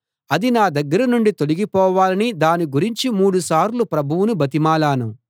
అది నా దగ్గర నుండి తొలగిపోవాలని దాని గురించి మూడు సార్లు ప్రభువును బతిమాలాను